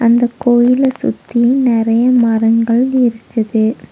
இந்தக் கோயில சுத்தி நெறைய மரங்கள் இருக்குது.